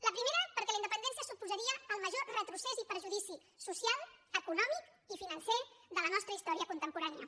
la primera perquè la independència suposaria el major retrocés i perjudici social econòmic i financer de la nostra història contemporània